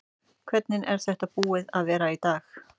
Hvernig er þetta búið að vera í dag?